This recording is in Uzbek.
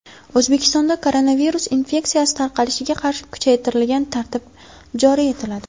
O‘zbekistonda koronavirus infeksiyasi tarqalishiga qarshi kuchaytirilgan tartib joriy etiladi.